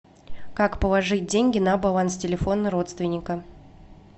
как положить деньги на баланс телефона родственника